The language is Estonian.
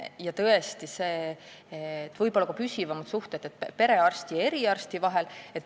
Ja tõesti on oluline ka see, et oleks püsivamad suhted perearsti ja eriarsti vahel.